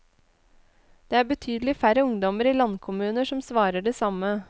Det er betydelig færre ungdommer i landkommuner som svarer det samme.